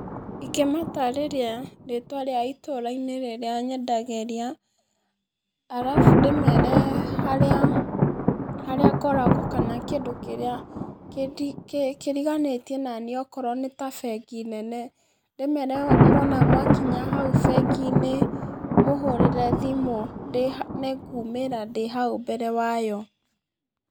Ingĩmatarĩria rĩtwa rĩa itũra-inĩ rĩrĩa nyendagĩrĩa, arabu ndĩmere harĩa, harĩa ngoragwo, kana kĩndũ kĩrĩa kĩndi kĩriganĩtie naniĩ okorwo nĩta bengi nene, ndĩmere mwona mwakinya hau bengi-inĩ, mũhũrĩre thimũ ndĩ nĩngumĩra ndĩ hau mbere wayo.